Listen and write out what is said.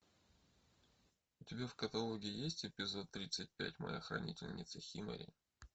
у тебя в каталоге есть эпизод тридцать пять моя хранительница химари